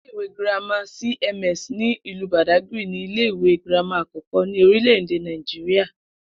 Ilé ìwé girama cms ní ìlú Bàdágìrì ni ilé ìwé girama àkó̩kó̩ ní orílè̩-èdè Nàìjíríà